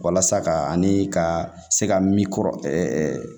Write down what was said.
Walasa ka ani ka se ka min kɔrɔ